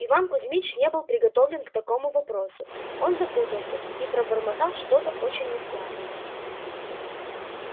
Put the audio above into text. иван кузьмич не был приготовлен к таковому вопросу он запутался и пробормотал что-то очень нескладное